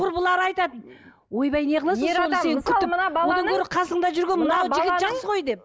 құрбылары айтады ойбай не қыласың соны